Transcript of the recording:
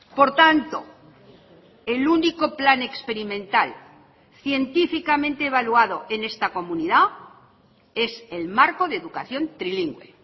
por tanto el único plan experimental científicamente evaluado en esta comunidad es el marco de educación trilingüe